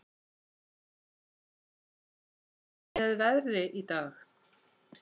Snæsól, hvernig er veðrið í dag?